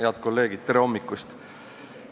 Head kolleegid, tere hommikust!